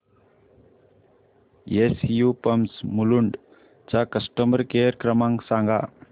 SU pumps Mulund चा customer care क्रमांक सांगा